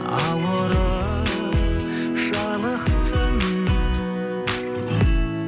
ауырып жалықтым